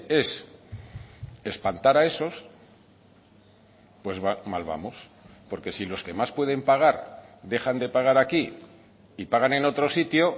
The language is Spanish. es espantar a esos pues mal vamos porque si los que más pueden pagar dejan de pagar aquí y pagan en otro sitio